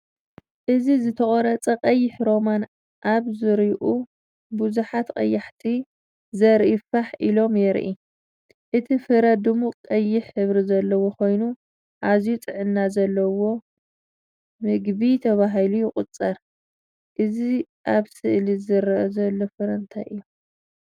እዚ ዝተቖርጸ ቀይሕ ሮማን ኣብ ዙርያኡ ብዙሓት ቀያሕቲ ዘርኢ ፋሕ ኢሎም የርኢ። እቲ ፍረ ድሙቕ ቀይሕ ሕብሪ ዘለዎ ኮይኑ ኣዝዩ ጥዕና ዘለዎ መግቢ ተባሂሉ ይቑጸር። እዚ ኣብ ስእሊ ዝርአ ዘሎ ፍረ እንታይ እዩም?